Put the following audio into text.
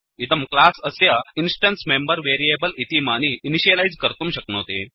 इदं क्लास् अस्य instance member variables इतीमानि इनिशियलैस् कर्तुं शक्नोति